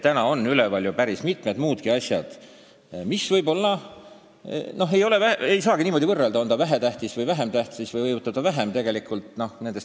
Praegu on üleval päris mitmed muudki asjad, mida ei saagi võib-olla niimoodi võrrelda, kas miski on vähem või rohkem tähis.